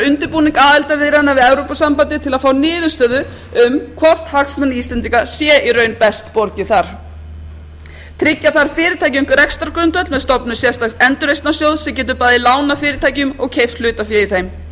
undirbúning aðildarviðræðna við evrópusambandið til að fá niðurstöðu um hvort hagsmunum íslendinga sé í raun best borgið þar tryggja þarf fyrirtækjum rekstrargrundvöll með stofnun sérstaks endurreisnarsjóðs sem getur bæði lánað fyrirtækjum og keypt hlutafé í þeim sjóður